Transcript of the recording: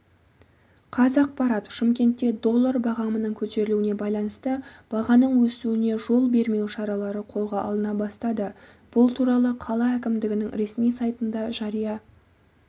қазақпарат шымкентте доллар бағамының көтерілуіне байланысты бағаның өсуіне жол бермеу шаралары қолға алына бастады бұл туралы қала әкімдігінің ресми сайтында жария